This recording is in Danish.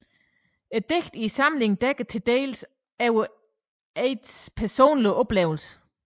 Digtene i samlingen dækker til dels over Aidts personlige oplevelser